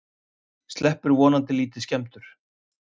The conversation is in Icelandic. Sleppur vonandi lítið skemmdur